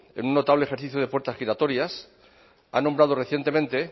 en un notable ejercicio de puertas giratorias ha nombrado recientemente